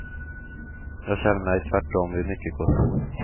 Jag känner mig tvärtom vid mycket gott mod.